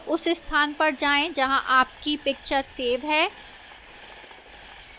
उस स्थान पर जाएं जहां आपकी picture सेव है